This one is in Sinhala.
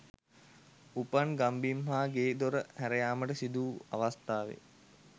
උපන් ගම්බිම් හා ගේ දොර හැරයාමට සිදුවූ අවස්ථාවේ